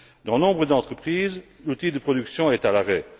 Dans nombre d'entreprises, l'outil de production est à l'arrêt.